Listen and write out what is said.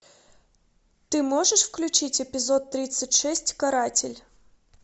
ты можешь включить эпизод тридцать шесть каратель